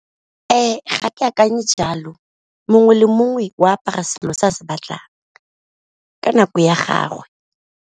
Ga ke akanye jalo mongwe le mongwe o apara selo se a se batlang ka nako ya gagwe.